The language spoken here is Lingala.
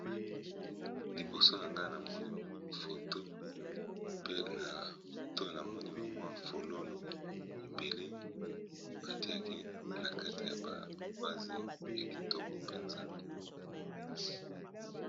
liboso na ngai na moni foto pe na foto na moni bamwa folono ebele batiaki na kati ya ba vase ya kitoko mpenza